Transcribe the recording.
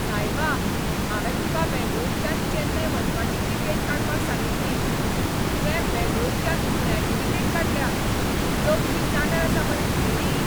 सायबा! हांवें तुका बेंगळूरच्यान चेन्नय वचपाची तिकेट काडपाक सांगिल्ली, तुवें बेंगळूरच्यान पुण्याची तिकेट काडल्या. तकली जाग्यार आसा मरे तुगेली?